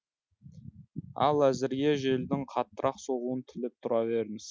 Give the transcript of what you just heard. ал әзірге желдің қаттырақ соғуын тілеп тұра беріңіз